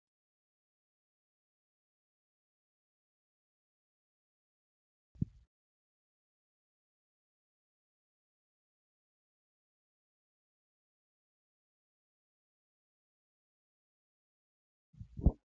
Amantaan Ortoodoksii addunyaa irratti amantaa beeksamtii guddaa qabudha. Luboonni amantaa kana hordofan ayyaanota garaa garaa kan kabachiisanii fi kan kabajnidha. Ayyaanni kun kan akka guyyaa dhaloota Gooftaa yesuusii ta'uu ni danda'a.